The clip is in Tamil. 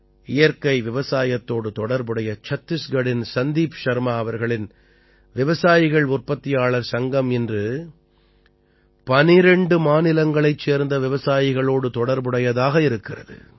இயற்கை விவசாயத்தோடு தொடர்புடைய சத்திஸ்கட்டின் சந்தீப் ஷர்மா அவர்களின் விவசாயிகள் உற்பத்தியாளர் சங்கம் இன்று 12 மாநிலங்களைச் சேர்ந்த விவசாயிகளோடு தொடர்புடையதாக இருக்கிறது